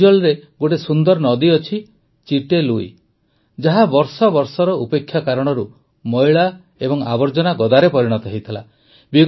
ଆଇଜଲରେ ଗୋଟିଏ ସୁନ୍ଦର ନଦୀ ଅଛି ଚିଟେ ଲୁଇ ଯାହା ବର୍ଷ ବର୍ଷର ଉପେକ୍ଷା କାରଣରୁ ମଇଳା ଓ ଆବର୍ଜନା ଗଦାରେ ପରିଣତ ହୋଇଥିଲା